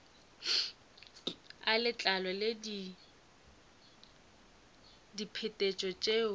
a letlalo le diphetetšo tšeo